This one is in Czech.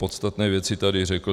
Podstatné věci tedy řekl.